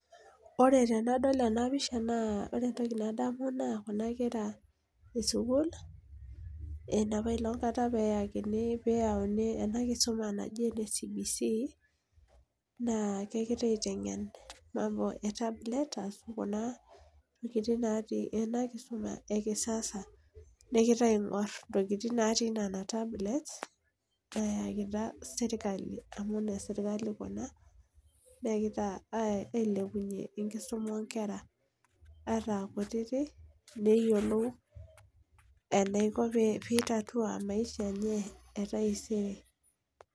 Ore tenadol ena picha naa ore entoki nadamu naa inkera enapailong kata pee eyauni, enakisuma e CBC naa kegirai atengen mambo etablet naa ketii enakisuma ekisasa negirae aigor intokitin natii Nena tablets eekita serkali amu inesirikali Kuna, negirae ailepunye enakisuma oonkera ataa kutitik neyiolou eniko pee itatua maisha enye, etaisere.